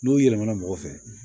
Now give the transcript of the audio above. N'o yɛlɛmana mɔgɔ fɛ